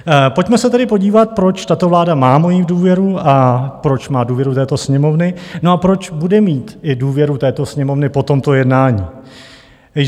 Pojďme se tedy podívat, proč tato vláda má moji důvěru a proč má důvěru této Sněmovny, no a proč bude mít i důvěru této Sněmovny po tomto jednání.